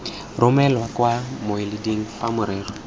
romelwa kwa mmueleding fa morero